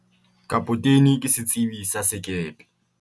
kapotene ke setsebi sa sekepe